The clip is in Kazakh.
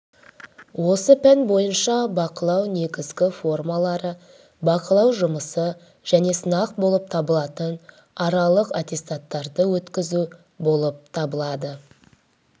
осы пән бойынша бақылау негізгі формалары бақылау жұмысы және сынақ болып табылатын аралық аттестаттауды өткізу болып табылады